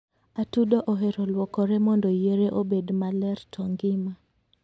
atudo ohero luokore mondo yiere obed maler to ngima